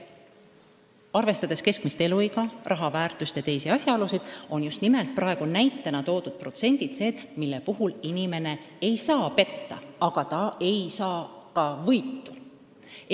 Arvestades keskmist eluiga, raha väärtust ja teisi asjaolusid, on praegu näitena toodud protsendid niisugused, mille puhul inimene ei saa petta, aga ta ei saa ka võitu.